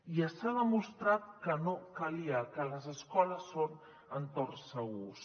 i s’ha demostrat que no calia que les escoles són entorns segurs